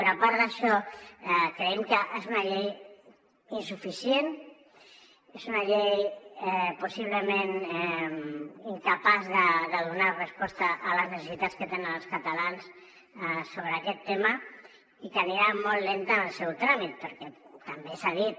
però a part d’això creiem que és una llei insuficient és una llei possiblement incapaç de donar resposta a les necessitats que tenen els catalans sobre aquest tema i que anirà molt lenta en el seu tràmit perquè també s’ha dit